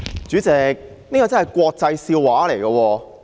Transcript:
主席，這真是國際笑話。